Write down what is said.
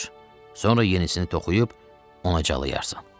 Sonra yenisini toxuyub ona calayarsan.